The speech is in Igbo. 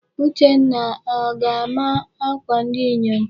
Uchenna, o ga-ama akwa ndi inyom?